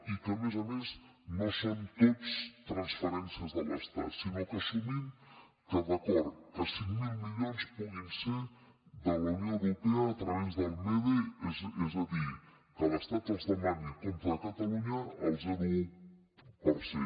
i que a més a més no són tots transferències de l’estat sinó que assumim que d’acord que cinc mil milions puguin ser de la unió europea a través del mede és a dir que l’estat els demani a compte de catalunya al zero coma un per cent